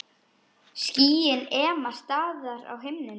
Skýin ema staðar á himnum.